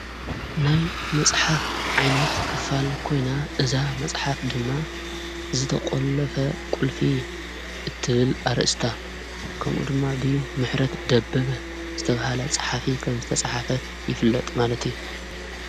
ናይ መጽሓፍ ዓይነት ክፋል ኮይና እዛ መጽሓፍ ድማ ዝተቖለፈ ቊልፊ እትብል ኣርእስታ ከምኡ ድማ እብ ምሕረት ደብግ ዝተብሃለ ፀሓፊ ኸም ዝተጽሓፈት ይፍለጥ ማለት እዩ።